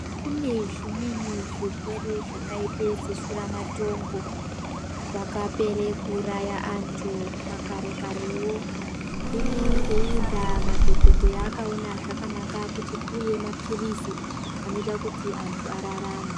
Kune zvimweni zvirwere zvakaite yeshuramatongo. Zvakapere kuuraya antu makare-karewo. Hino ngeiyi ndaa madhogodheya akaonabzvakanaka kuti kuuye maphirizi anoita kuti antu ararame.